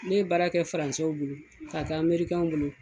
Ne baara kɛ bolo ka kɛ bolo.